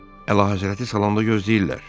Əlahəzrəti salonda gözləyirlər.